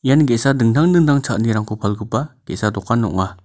ian ge·sa dingtang dingtang cha·anirangko palgipa ge·sa dokan ong·a.